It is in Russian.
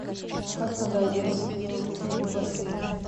как надо одеться в бассейн